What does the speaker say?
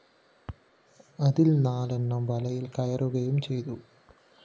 അതില്‍ നാലെണ്ണം വലയില്‍ കയറുകയും ചെയ്തു